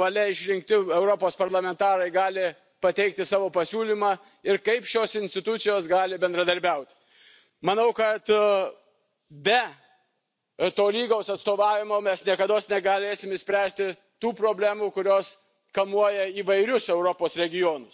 valia išrinkti Europos parlamentarai gali pateikti savo pasiūlymą ir kaip šios institucijos gali bendradarbiauti. Manau, kad be tolygaus atstovavimo mes niekados negalėsime išspręsti tų problemų, kurios kamuoja įvairius Europos regionus